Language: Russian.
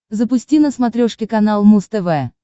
запусти на смотрешке канал муз тв